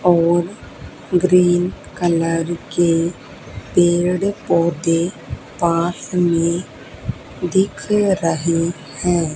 और green colour के पेड़ पौधे पास में दिख रहे है।